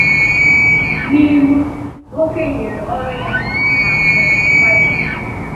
N’ìlú nwókè nyèrè orù-ya na akụ́ na ụ̀bà ya.